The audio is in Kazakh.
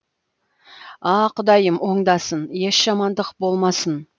а құдайым оңдасын еш жамандық болмасын